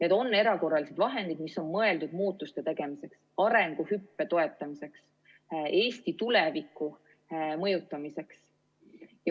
Need on erakorralised vahendid, mis on mõeldud muutuste tegemiseks, arenguhüppe toetamiseks, Eesti tuleviku mõjutamiseks.